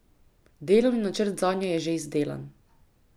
Delovni načrt zanje je že izdelan.